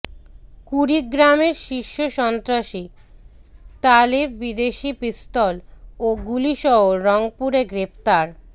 কুড়িগ্রামের শীর্ষ সন্ত্রাসী তালেব বিদেশী পিস্তল ও গুলিসহ রংপুরে গ্রেফতার